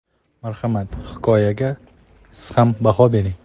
Marhamat, hikoyaga siz ham baho bering.